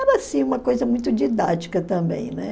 Era, assim, uma coisa muito didática também, né?